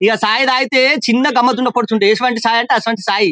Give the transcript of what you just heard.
ఇగ చాయ్ తాగితే చిన్న గమ్మత్తు కనపడుతుంది ఇటువంటి చాయ్ అంటే అటువంటి చాయ్.